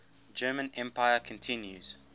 german empire continues